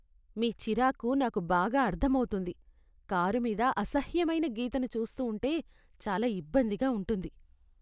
మీ చిరాకు నాకు బాగా అర్థమవుతుంది. కారు మీద అసహ్యమైన గీతను చూస్తూ ఉంటే చాలా ఇబ్బందిగా ఉంటుంది.